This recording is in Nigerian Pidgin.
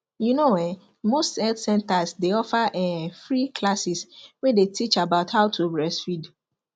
you know um most health centers dey offer um free classes way dey teach about how to breastfeed